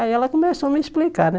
Aí ela começou a me explicar, né?